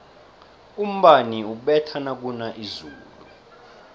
umbani ubetha nakuna izulu